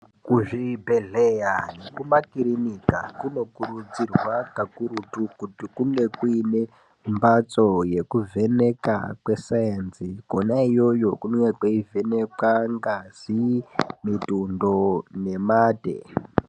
Ku zvibhedhleya neku makirinika kuno kurudzirwa kakurutu kuti Kunge kuine mbatso yeku vheneka kwe sainzi kona iyoyo kunonga kwei vhenekwa ngazi mitundo ne mate.